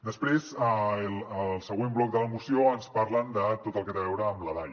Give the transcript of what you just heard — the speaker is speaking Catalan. després al següent bloc de la moció ens parlen de tot el que té a veure amb la dai